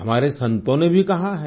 हमारे संतों ने भी कहा है